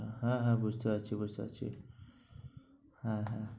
হ্যাঁ হ্যাঁ বুঝতে পারছি বুঝতে পারছি। হ্যাঁ হ্যাঁ হ্যাঁ।